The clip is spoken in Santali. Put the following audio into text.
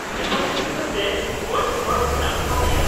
-ᱡᱟᱦᱟᱸᱭ ᱜᱤᱫᱽᱨᱟᱹ ᱥᱮ ᱵᱚᱭᱮᱥ ᱦᱚᱲ ᱢᱮᱱᱟᱜ ᱠᱚᱣᱟ ᱪᱮᱫ ?